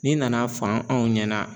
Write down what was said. N'i nana fɔ anw ɲɛna